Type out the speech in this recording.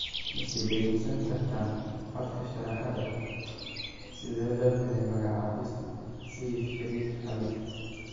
Ma sii dhageysan kartaan codka Sharaxaada, Sidee loo helay magacaabista Seif Sharif Hamad?